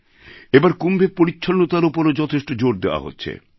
এবার কুম্ভে পরিচ্ছন্নতার ওপরও যথেষ্ট জোর দেওয়া হচ্ছে